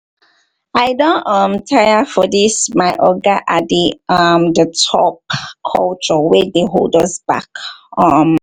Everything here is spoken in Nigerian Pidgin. i don um tire for dis 'my oga at the um top' culture wey dey hold us back. um